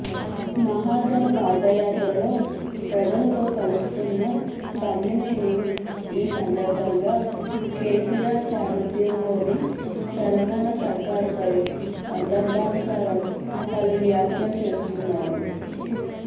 మహాజన పాదయాత్రలో ప్రజలతో కలుస్తున్న తమ్మినేని ఈ సందర్భంగా కేసీఆర్ సారథ్యంలోని తెలంగాణ సర్కారుపై సందర్భానుసారం పలు వ్యాఖ్యలు చేస్తున్నారు